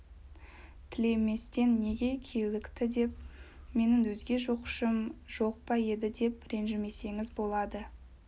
тілеместен неге килікті деп менің өзге жоқшым жоқ па еді деп ренжімесеңіз болады